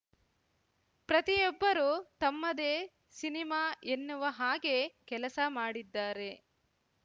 ಪ್ರತಿಯೊಬ್ಬರು ತಮ್ಮದೇ ಸಿನಿಮಾ ಎನ್ನುವ ಹಾಗೆ ಕೆಲಸ ಮಾಡಿದ್ದಾರೆ